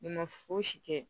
Ne ma fosi kɛ